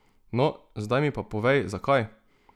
No, zdaj mi pa povej, zakaj!